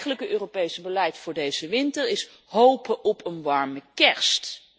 Het eigenlijke Europese beleid voor deze winter is hopen op een warme kerst.